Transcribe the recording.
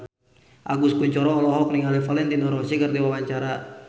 Agus Kuncoro olohok ningali Valentino Rossi keur diwawancara